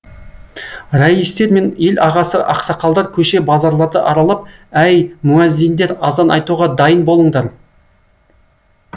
раистер мен ел ағасы ақсақалдар көше базарларды аралап әй муәззиндер азан айтуға дайын болыңдар